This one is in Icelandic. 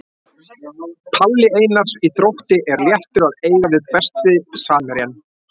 Palli Einars í Þrótti er léttur að eiga við Besti samherjinn?